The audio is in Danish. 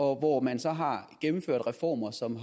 hvor man så har gennemført reformer som